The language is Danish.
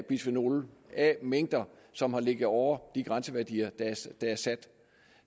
bisfenol a mængder som har ligget over de grænseværdier